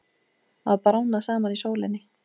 Að bráðna saman í sólinni